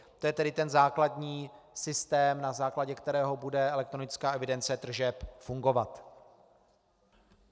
To je tedy ten základní systém, na základě kterého bude elektronická evidence tržeb fungovat.